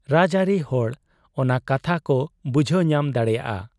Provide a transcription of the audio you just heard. ᱨᱟᱡᱽᱟᱹᱨᱤ ᱦᱚᱲ ᱚᱱᱟ ᱠᱟᱛᱷᱟ ᱠᱚ ᱵᱩᱡᱷᱟᱹᱣ ᱧᱟᱢ ᱫᱟᱲᱮᱭᱟᱫ ᱟ ᱾